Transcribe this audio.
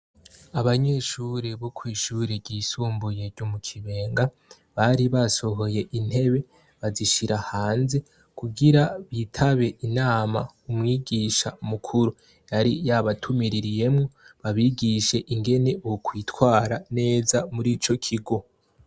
abanyeshuri bo kwishure ry'isumbuye ryo mu kibenga bari basohoye intebe bazishira hanze kugira bitabe inama umwigisha mukuru yari yabatumiririyemo babigishe ingene bo kwitwara neza muri ico kigo.